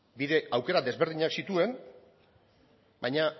aukera desberdinak zituen baina